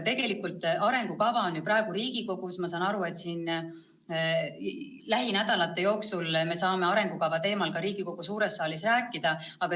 Tegelikult arengukava on praegu Riigikogus ja ma saan aru, et me lähinädalate jooksul saame arengukava teemal ka Riigikogu suures saalis rääkida.